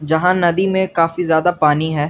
यहां नदी में काफी ज्यादा पानी है।